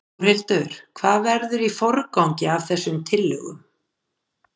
Þórhildur: Hvað verður í forgangi af þessum tillögum?